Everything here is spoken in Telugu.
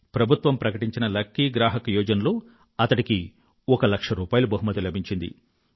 ప్రభుత్వం ప్రకటించిన లకీ గ్రాహక్ యోజనలో అతడికి ఒక లక్ష రూపాయిలు బహుమతి లభించింది